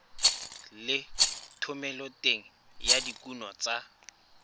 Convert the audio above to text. le thomeloteng ya dikuno tsa